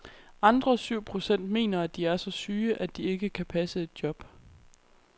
Andre syv procent mener, at de er så syge, at de ikke kan passe et job.